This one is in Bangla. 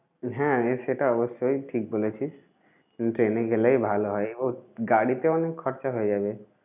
হ্যাঁ সেটা অবশ্যই, ঠিক বলেছিস train এ গেলেই ভালো হয় বহুত, গাড়িতে অনেক খরচা হয়ে যাবে।